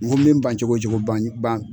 N ko me n ban cogo cogo ban ban